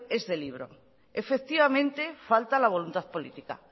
es de libro efectivamente falta la voluntad política